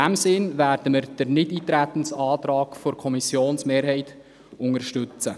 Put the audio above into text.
In diesem Sinn werden wir den Nichteintretensantrag der Kommissionsmehrheit unterstützen.